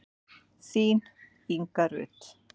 Þín, Inga Rut.